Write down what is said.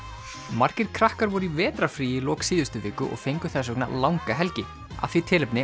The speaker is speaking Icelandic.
margir krakkar voru í vetrarfríi í lok síðustu viku og fengu þess vegna langa helgi af því tilefni